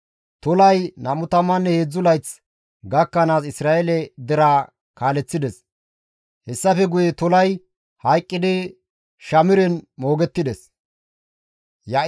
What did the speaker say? Tolay 23 layth gakkanaas Isra7eele deraa kaaleththides; hessafe guye Tolay hayqqidi Shamiren moogettides.